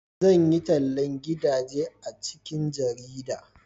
zan yi tallan gidaje a cikin jarida